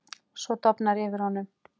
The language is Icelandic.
Svo dofnar yfir honum.